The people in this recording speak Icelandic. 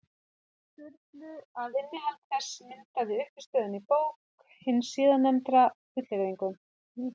Sturlu, að innihald þess myndaði uppistöðuna í bók hins síðarnefnda, fullyrðingum.